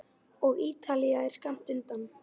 Og Ítalía er skammt undan.